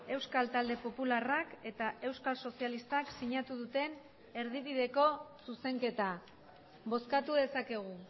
euskal talde popularrak eta euskal sozialistak sinatu duten erdibideko zuzenketa bozkatu dezakegu